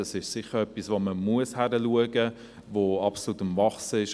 Das ist sicher etwas, das absolut am Wachsen ist und wo man hinschauen muss.